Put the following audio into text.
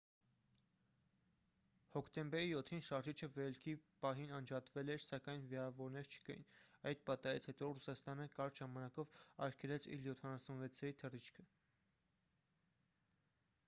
հոկտեմբերի 7-ին շարժիչը վերելքի պահին անջատվել էր սակայն վիրավորներ չկային: այդ պատահարից հետո ռուսաստանը կարճ ժամանակով արգելեց իլ-76-երի թռիչքը: